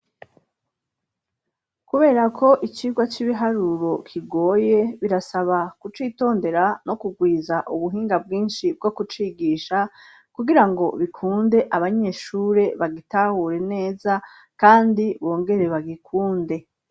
kubera k' icirwa c'ibiharuro kigoye birasaba ku citondera no kugwiza ubuhinga bwinshi bwo kucigisha kugirango bikunde abanyeshuri bagitahure neza kandi bongere bagikunde